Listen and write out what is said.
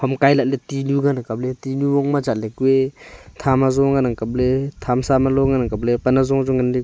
hamkai la ley tinu ngan a kapley tinu gongma chatley kue tham azo nganang kapley thamsa ma loh ngana kapley pan hazo chu nganley.